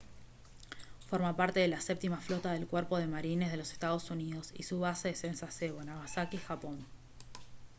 forma parte de la séptima flota del cuerpo de marines de los estados unidos y su base es en sasebo nagasaki japón